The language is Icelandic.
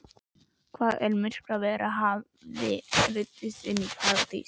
Hvaða myrkravera hafði ruðst inn í Paradís?